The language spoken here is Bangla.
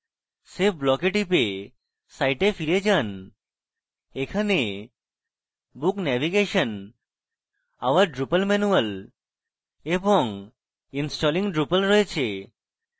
save blocks এ টিপে site ফিরে যান এখানে book navigation our drupal manual এবং installing drupal রয়েছে